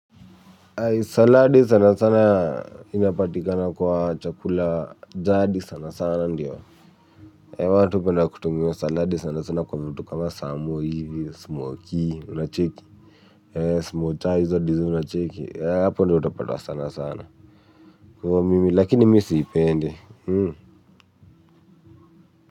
Saladi sana sana inapatikana kwa chakula jadi sana sana ndiyo watu hupenda kutumia saladi sana sana kwa vitu kama samo hivi, smoky, unacheki ee, smocha hizo design unacheki hapo ndio utapata sana sana kwa hivo mimi lakini mi siipendi.